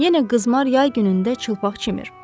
Yenə qızmar yay günündə çılpaq çimir.